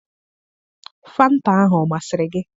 Fanta ahụ ọ masịrị gị?